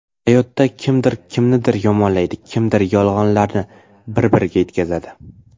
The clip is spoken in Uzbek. Hayotda kimdir kimnidir yomonlaydi, kimdir yolg‘onlarni bir-biriga yetkazadi.